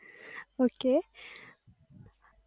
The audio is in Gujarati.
ok